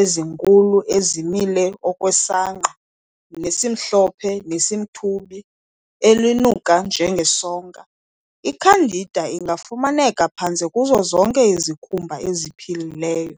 ezinkulu ezimile okwesangqa nesimhlophe nesimthubi elinuka njengesonka.I-"Candida" ingafumaneka phantse kuzo zonke izikhumba eziphilileyo.